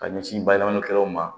Ka ɲɛsin bayɛlɛmani kɛlaw ma